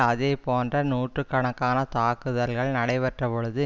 அதே போன்ற நூற்று கணக்கான தாக்குதல்கள் நடைபெற்ற பொழுது